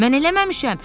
Mən eləməmişəm.